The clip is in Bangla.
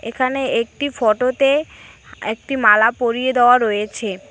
এখানে একটি ফটোতে একটি মালা পরিয়ে দেওয়া রয়েছে।